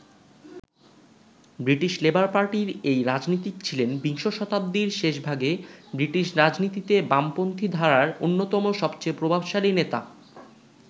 British labour পার্টির এই রাজনীতিক ছিলেন বিংশ শতাব্দীর শেষভাগে ব্রিটিশ রাজনীতিতে বামপন্থী ধারার অন্যতম সবেচেয়ে প্রভাবশালী নেতা।